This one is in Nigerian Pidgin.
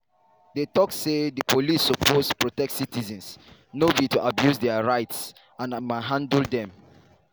dey tok say di police suppose protect citizens no be to abuse dia rights and manhandle dem.